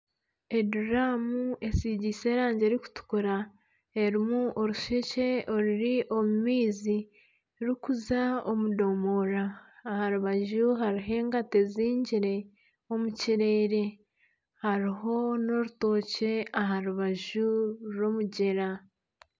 Eduramu esigiise erangi erikutukura erimu orushekye oruri omu maizi rukuza omu domora aha rubaju hariho engata ezingire omu kireere haribo na orutookye aha rubaju rw'omugyera.